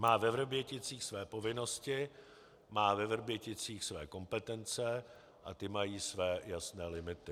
Má ve Vrběticích své povinnosti, má ve Vrběticích své kompetence a ty mají své jasné limity.